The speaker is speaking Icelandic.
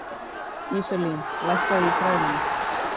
Íselín, lækkaðu í græjunum.